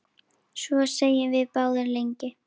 Svo þegjum við báðar lengi.